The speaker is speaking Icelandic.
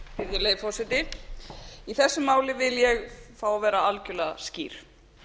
virðulegi forseti í þessu máli vil ég fá að vera algjörlega skýr